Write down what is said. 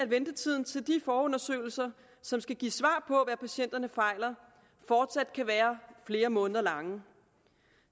ventetiden til de forundersøgelser som skal give svar på patienterne fejler fortsat kan være flere måneder lang